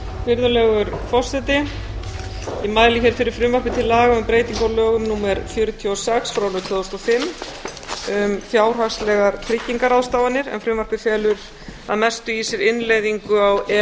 virðulegur forseti ég mæli hér fyrir frumvarpi til laga um breyting á lögum númer fjörutíu og sex tvö þúsund og fimm um fjárhagslegar tryggingarráðstafanir en frumvarpið felur að mestu í sér innleiðingu á e e